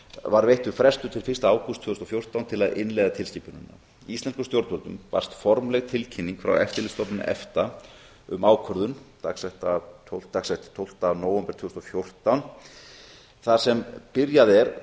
var veittur frestur til fyrsta ágúst tvö þúsund og fjórtán til að innleiða tilskipunina íslenskum stjórnvöldum barst formleg tilkynning frá eftirlitsstofnun efta um ákvörðun dagsett tólfta nóvember tvö þúsund og fjórtán þar sem byrjað er